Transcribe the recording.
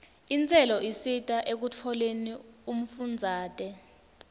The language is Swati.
intselo isita ekutfoleni umfundzate